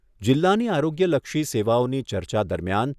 જિલ્લાની આરોગ્યલક્ષી સેવાઓની ચર્ચા દરમિયાન